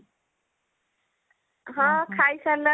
ହଁ, ଖାଇ ସାରିଲାଣି